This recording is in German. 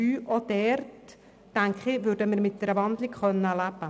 Auch hier könnten wir mit einer Umwandlung in ein Postulat leben.